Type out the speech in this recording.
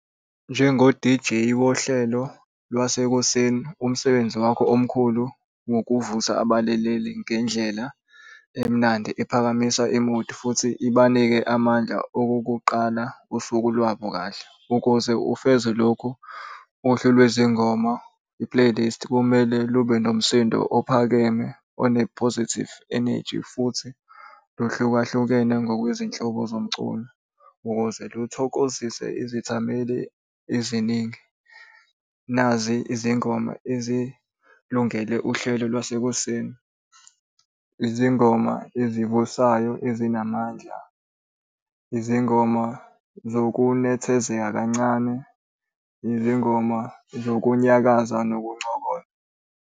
Njengo-D_J wohlelo lwasekuseni umsebenzi wakho omkhulu ngokuvusa abalaleli ngendlela emnandi ephakamisa i-mood futhi ibanike amandla okokuqala usuku lwabo kahle ukuze ufeze lokhu, uhlu lwezingoma i-playlist kumele lube nomsindo ophakeme one-positive energy futhi ohlukahlukene ngokwezinhloso zomculo, ukuze luthokozise izithameli eziningi. Nazi izingoma ezilungele uhlelo lwasekuseni. Izingoma ezivusayo ezinamandla, izingoma zokunethezeka kancane, izingoma zokunyakaza nokuncokola.